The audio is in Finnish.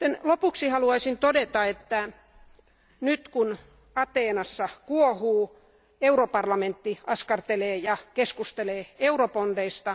Lopuksi haluaisin todeta, että nyt kun Ateenassa kuohuu, Euroopan parlamentti askartelee ja keskustelee eurobondeista.